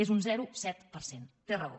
és un zero coma set per cent té raó